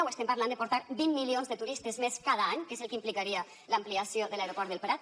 o estem parlant de portar vint milions de turistes més cada any que és el que implicaria l’ampliació de l’aeroport del prat